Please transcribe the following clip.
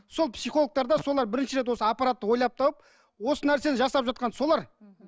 сол психологтарда солар бірінші рет осы аппаратты ойлап тауып осы нәрселерді жасап жатқан солар мхм